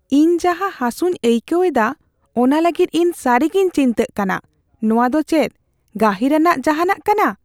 ᱤᱧ ᱡᱟᱦᱟ ᱦᱟᱥᱩᱧ ᱟᱹᱭᱠᱟᱹᱣᱮᱫᱟ ᱚᱱᱟ ᱞᱟᱹᱜᱤᱫ ᱤᱧ ᱥᱟᱹᱨᱤᱜᱤᱧ ᱪᱤᱱᱛᱟᱹᱜ ᱠᱟᱱᱟ ᱾ ᱱᱚᱣᱟ ᱫᱚ ᱪᱮᱫ ᱜᱟᱹᱦᱤᱨᱟᱱᱟᱜ ᱡᱟᱦᱟᱱᱟᱜ ᱠᱟᱱᱟ ?